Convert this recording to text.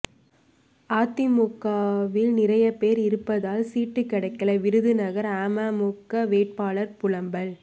அதிமுகவில் நிறைய பேர் இருப்பதால் சீட் கிடைக்கல விருதுநகர் அமமுக வேட்பாளர் புலம்பல்